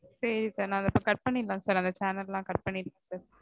சரி sir. நா இதோ இப்போ cut பண்ணிரலாம் sir. அந்த channel லாம் cut பண்ணிடறேன்